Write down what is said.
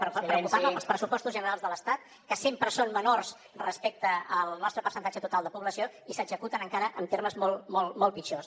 preocupar me pels pressupostos generals de l’estat que sempre són menors respecte al nostre percentatge total de població i s’executen encara en termes molt molt molt molt pitjors